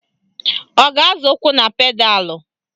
Ọ ga-azọ ụkwụ na pedalụ?